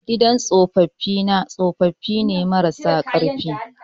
gidan tsopapi na tsopapine mara sa karfi